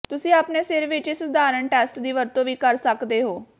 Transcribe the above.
ਤੁਸੀਂ ਆਪਣੇ ਸਿਰ ਵਿੱਚ ਇਸ ਸਧਾਰਨ ਟੈਸਟ ਦੀ ਵਰਤੋਂ ਵੀ ਕਰ ਸਕਦੇ ਹੋ